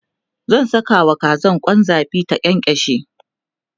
zan Saka wa Kazan Kwan zabi ta kyankyashe